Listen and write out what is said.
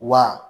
Wa